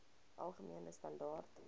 algemene standaar